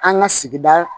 An ka sigida